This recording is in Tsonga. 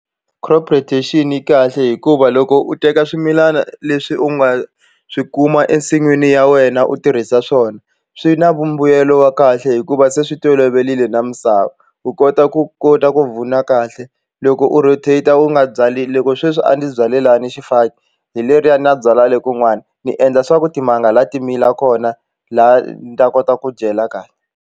Crop rotation yi kahle hikuva loko u teka swimilana leswi u nga swi kuma ensin'wini ya wena u tirhisa swona swi na vumbuyelo wa kahle hikuva se swi toloverile na misava u kota ku kota ku kahle loko u rotate u nga byali loko sweswi a ndzi byale lani xifaki hi leriya na byalwa le kun'wani ni endla swa ku timanga laha ti mila kona laha ni ta kota ku dyela kahle.